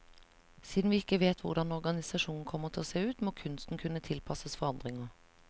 Siden vi ikke vet hvordan organisasjonen kommer til å se ut, må kunsten kunne tilpasses forandringer.